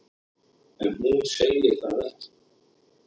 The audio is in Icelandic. En hún segir það ekki.